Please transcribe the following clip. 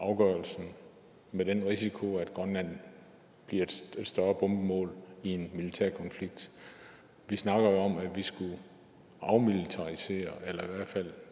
afgørelsen med den risiko at grønland bliver et større bombemål i en militær konflikt vi snakker jo om at vi skulle afmilitarisere eller i hvert fald